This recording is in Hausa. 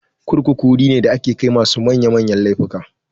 Kurkuku wuri ne da ake kai masu manya manyan laifuka.